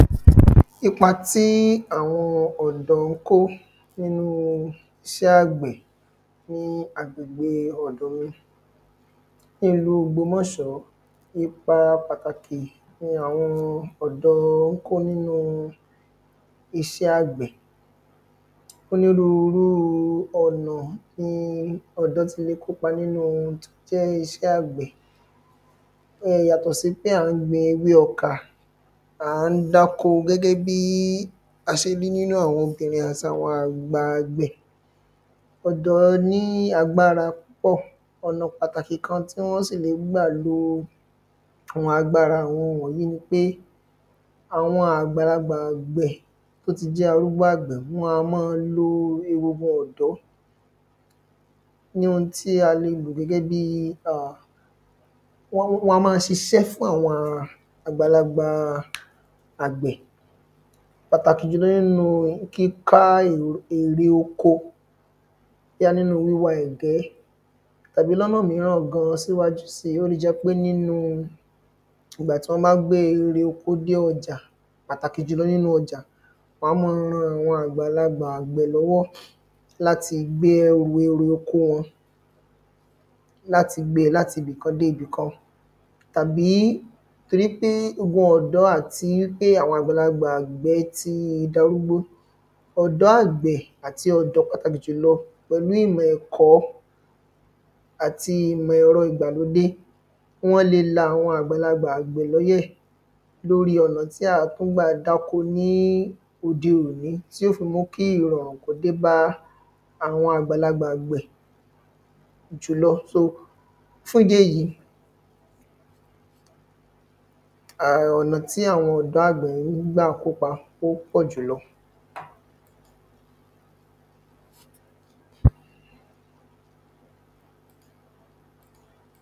ipa tí àwọn ọ̀dọ́ ń kó nínú iṣẹ́ àgbẹ̀ fún agbègbè ọ̀dọ̀ mi nílùú ògbómọ̀ṣọ́. ipa pàtàkì ni àwọn ọ̀dọ́ ń kó nínú iṣẹ́ àgbẹ̀. onírúurúu ọ̀nà ni ọ̀dọ́ ti le kópa nínú iṣẹ́ àgbẹ̀ yàtọ̀ sí pé à ń gbin ewé ọkà à ń dáko gẹ́gẹ́ bí a ṣe rí nínú àwọn obìnrin àti àwọn àgbà àgbẹ̀. ọ̀dọ́ ní agbára púpọ̀ ọ̀nà pàtàkì kan tí wọ́n sì ń gbà lo àwọn agbára àwọn wọ̀nyí ni pé àwọn àgbàlagbà àgbẹ̀ tó ti jẹ́ arúgbó àgbẹ̀ wọ́n á máa lo egungun ọ̀dọ́ ní ohun tí a lè lò gẹ́gẹ́ bíi à, wọ́n, wọn á máa ṣiṣẹ́ fún àwọn àgbàlagbà àgbẹ̀ pàtàkì jùlọ nínú kíká èrè oko bóyá nínúu wíwa ẹ̀gẹ́ tàbí lọ́nà míràn gan síwájú síi, ó le jẹ́ pé nínúu ìgbà tí wọ́n bá gbé erè oko dé ọjà, pàtàkì jùlọ nínú ọjà, wọọn a máa ran àwọn àgbàlagbà àgbẹ̀ lọ́wọ́ láti gbé ẹrù erè oko wọn, láti gbe láti ibì kan dé ibì kan tàbí torí pé ogun ọ̀dọ́ àti pé àwọn àgbàlagbà àgbẹ̀ ti darúgbó ọ̀dọ́ àgbẹ̀ àti ọ̀dọ́ pàtàkì jùlọ pẹ̀lú ìmọ̀ ẹ̀kọ́ àti ìmọ̀ ẹ̀rọ ìgbàlódé wọ́n le la àwọn àgbàlagbà àgbẹ̀ lọ́yẹ̀ lóríi ọ̀nà tí à á tún gbà dáko ní òde òní tí ó fi mú kí ìrọ̀rùn kó dé bá àwọn àgbàlagbà àgbẹ̀ jùlọ. so fún ìdí èyí, um ọ̀nà tí àwọn ọ̀dọ́ àgbẹ̀ ń gbà kópa ó pọ̀ jùlọ